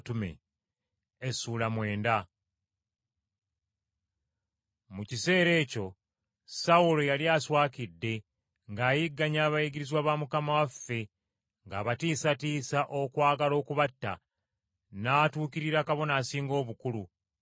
Mu kiseera ekyo Sawulo yali aswakidde ng’ayigganya abayigirizwa ba Mukama waffe ng’abatiisatiisa okwagala okubatta, n’atuukirira Kabona Asinga Obukulu,